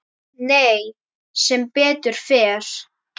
Nei, sem betur fer.